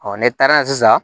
ne taara yen sisan